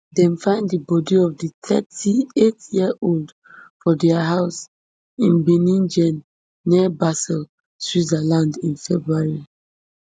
dem find di bodi of di thirty-eightyearold for dia house in binningen near basel switzerland in february